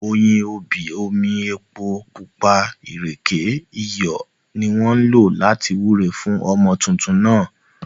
Oyin, obì, omi, epo pupa, ìrèké, iyọ̀, ni wọ́n lò láti wúre fún ọmọ tuntun náà